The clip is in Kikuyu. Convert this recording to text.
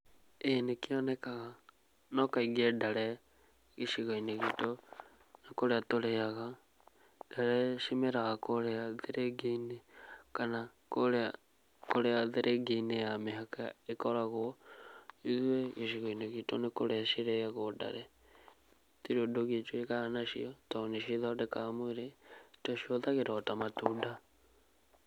Ĩĩ nĩkĩonekaga, no kaingĩ ndare gĩcigo-inĩ gitũ, nĩkũrĩa tũrĩaga. Ndare cimeraga kũrĩa thĩrĩngĩ-inĩ, kana kũrĩa, kũrĩa thĩrĩngĩ-inĩ ya mĩhaka ĩkoragũo. Ithuĩ gĩcigo-inĩ gitũ nĩ kũrĩa cirĩagũo ndare. Gũtirĩ ũndũ ũngĩ tũĩkaga nacio, tondũ nĩcio ithondeka mwĩrĩ, tũcihũthagĩra o ta matunda.